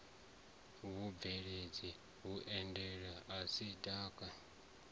vhubveledzi vhuelanaho na ik na